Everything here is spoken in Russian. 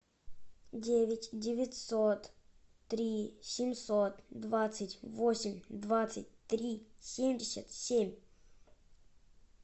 девять девятьсот три семьсот двадцать восемь двадцать три семьдесят семь